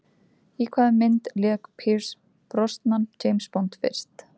Í hvaða mynd lék Pierce Brosnan James Bond fyrst?